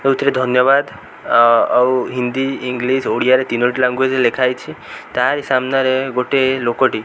ଦଉଥିଲେ ଧନ୍ୟବାଦ୍ ଆ ଆଉ ହିନ୍ଦୀ ଇଂଲିଶ ଓଡ଼ିଆରେ ତିନୋଟି ଲାନଙ୍ଗୁଏଜ୍ ରେ ଲେଖା ହୋଇଛି ତାରି ସାମ୍ନାରେ ଲୋକ ଟି।